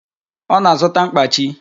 Ọ na-azụta mkpachi